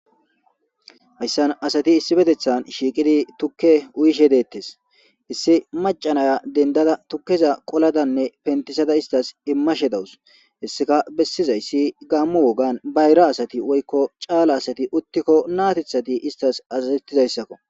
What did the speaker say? hayssan asati issi betethan shiiqidi tukke uyishe deettes issi macanaya dendada tukkeza qoladanne pentisada istas immashe dawus hesseka bessizayssi gaammu wogan bayra asati woykko caala asati uttikko naatithati istas azazettizayssakko